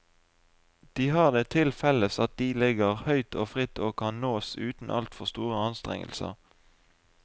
De har det til felles at de ligger høyt og fritt og kan nås uten altfor store anstrengelser.